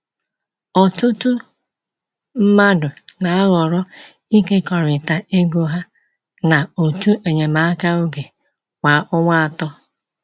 Ọtụtụ mmadụ na-ahọrọ ịkekọrịta ego ha na òtù enyemaka oge kwa ọnwa atọ.